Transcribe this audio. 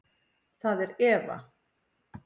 Það er Eva.